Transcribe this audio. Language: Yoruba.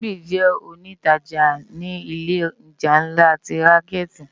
Simbi jè ónitàjá ni ilé òjá nlá ti rànkèti